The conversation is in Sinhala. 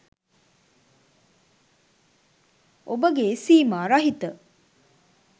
ඔබගේ සීමා රහිත